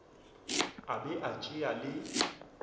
a be a tšea le